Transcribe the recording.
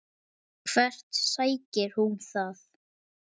Hvert sækir hún það?